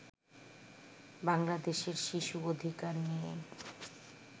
বাংলাদেশের শিশু অধিকার নিয়ে